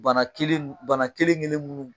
Bana kelen n bana kelen-kelen munnu